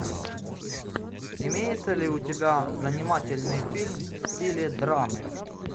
имеется ли у тебя занимательный фильм в стиле драмы